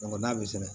n'a bɛ sɛbɛn